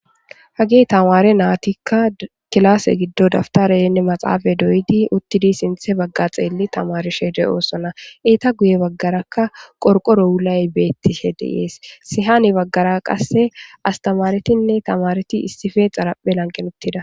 Hagge tamare nayttika killase giddon dabbtarene maaxafe doyyidi uutidi sinththe bagga xelli tamarishe de'ossona eeta guye baggaraka qorqoro wulay bettishe de'es hani baggara qasse astamaretinne taamareti issippe xaaraphe laanqen uttida.